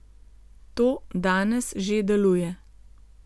To danes že deluje.